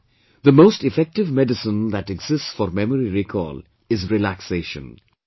And therefore the most effective medicine that exists for memory recall is relaxation